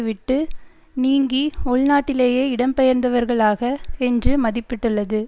விட்டு நீங்கி உள்நாட்டிலேயே இடம் பெயர்ந்தவர்களாக என்று மதிப்பிட்டுள்ளது